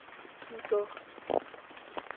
thuto